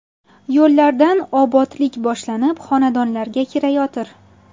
Yo‘llardan obodlik boshlanib, xonadonlarga kirayotir.